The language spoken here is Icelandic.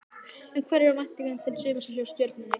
En hverjar eru væntingarnar til sumarsins hjá Stjörnunni?